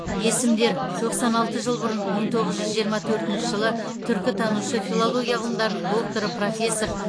есімдер тоқсан алты жыл бұрын мың тоғыз жүз жиырма төртінші жылы түркітанушы филология ғылымдарының докторы профессор